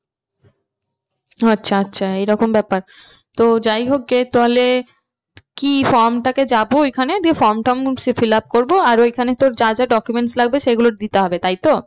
আচ্ছা আচ্ছা এই রকম ব্যাপার। তো যাই হোক গে তাহলে কি form টাকে যাবো ওইখানে দিয়ে form টম fill up করবো আর ওইখানে তোর যা যা documents লাগবে সেইগুলো দিতে হবে তাই তো? ।